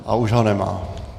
A už ho nemá.